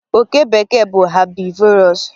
oke bekee bụ herbivorous